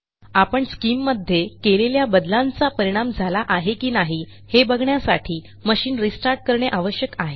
आपण स्किम मध्ये केलेल्या बदलांचा परिणाम झाला आहे की नाही हे बघण्यासाठी मशिन रिस्टार्ट करणे आवश्यक आहे